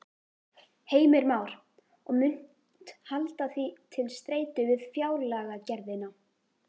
Heimir Már: Og munt halda því til streitu við fjárlagagerðina?